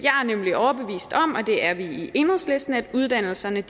nemlig overbevist om og det er vi i enhedslisten at uddannelserne